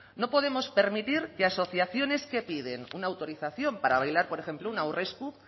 no podemos permitir que asociaciones que piden una autorización para bailar por ejemplo un aurresku